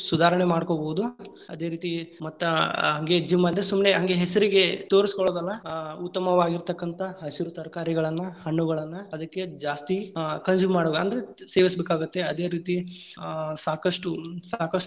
ಸುಧಾರಣೆ ಮಾಡ್ಕೋಬಹುದು, ಅದೇ ರೀತಿ ಮತ್ತ ಆ ಹಂಗೆ gym ಅಂದ್ರೆ ಹಂಗೆ ಸುಮ್ನೆ ಹೆಸರಿಗೆ ತೋರಸ್ಕೊಳೊದಲ್ಲಾ ಆ ಉತ್ತಮವಾಗಿರತಂಕಂತಾ ಹಸಿರು ತರಕಾರಿಗಳನ್ನ, ಹಣ್ಣುಗಳನ್ನ ಅದಕ್ಕೆ ಜಾಸ್ತಿ ಆ consume ಮಾಡಬೇಕ್ ಅಂದ್ರೆ ಜಾಸ್ತಿ ಸೇವಿಸ್ಬೇಕಾಗತ್ತೆ, ಅದೇ ರೀತಿ ಆ ಸಾಕಷ್ಟು, ಸಾಕಷ್ಟು.